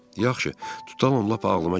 Yaxşı, tutalım lap ağlıma gəlib.